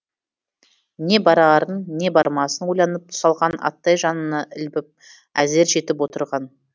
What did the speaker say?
не барарын не бармасын ойланып тұсалған аттай жанына ілбіп әзер жетіп отырған